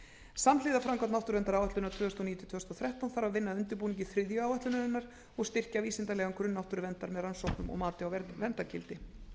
samhliða framkvæmd náttúruverndaráætlunar tvö þúsund og níu til tvö þúsund og þrettán þarf að vinna að undirbúningi þriðju áætlunarinnar og styrkja vísindalegan grunn náttúruverndar með rannsóknum og mati á verndargildi